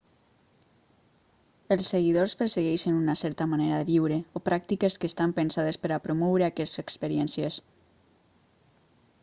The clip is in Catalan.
els seguidors persegueixen una certa manera de viure o pràctiques que estan pensades per a promoure aquestes experiències